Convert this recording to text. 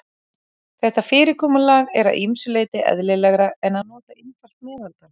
Þetta fyrirkomulag er að ýmsu leyti eðlilegra en að nota einfalt meðaltal.